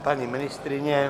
Paní ministryně?